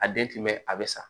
A den tun bɛ a bɛ sa